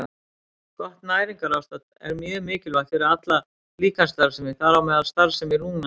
Gott næringarástand er mjög mikilvægt fyrir alla líkamsstarfsemi, þar á meðal starfsemi lungnanna.